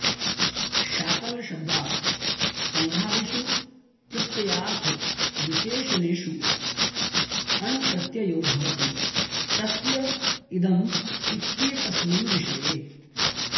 शाकलशब्दात् सङ्घादिषु प्रत्ययार्थविशेषनेषु वा अण्प्रत्ययो भवति तस्य इदम् इत्येतस्मिन् विषये